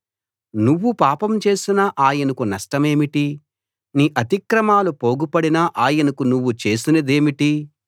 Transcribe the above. నువ్వు పాపం చేసినా ఆయనకు నష్టమేమిటి నీ అతిక్రమాలు పోగుపడినా ఆయనకి నువ్వు చేసిందేమిటి